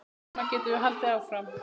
Svona getum við haldið áfram.